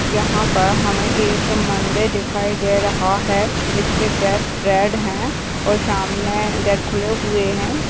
यहां पर हमें एक मंदिर दिखाई दे रहा है जिसके गेट रेड हैं सामने गेट खुले हुए हैं।